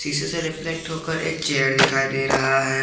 शीशे से रिफ्लैक्ट होकर एक चेयर दिखाई दे रहा है।